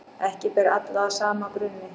Ekki ber alla að sama brunni.